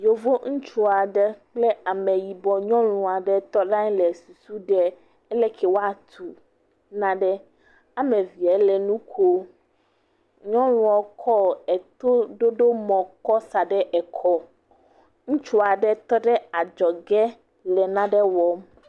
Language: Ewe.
Yevu ŋutsu aɖe kple ameyibɔ nyɔnu aɖe tɔ le anyi le susu ɖem, aleke woatu nawoame evea le nu kom, nyɔnuɔ kɔ etoɖoɖo mɔ kɔ sa ɖe ekɔ, ŋutsu aɖe tɔ ɖe adzɔge le nane wɔm.